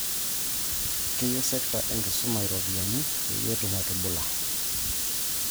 Keyiu sekta e enkisuma iropiyiani peyie etum atubula